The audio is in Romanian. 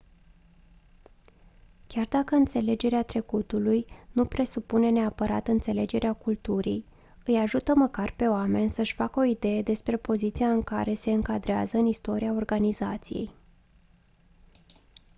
chiar dacă înțelegerea trecutului nu presupune neapărat înțelegerea culturii îi ajută măcar pe oameni să-și facă o idee despre poziția în care se încadrează în istoria organizației